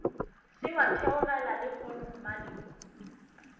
se wa theogela lehono mmalehu